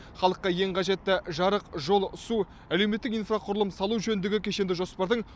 халыққа ең қажетті жарық жол су әлеуметтік инфрақұрылым салу жөніндегі кешенді жоспардың